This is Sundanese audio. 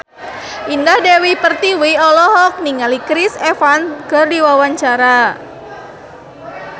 Indah Dewi Pertiwi olohok ningali Chris Evans keur diwawancara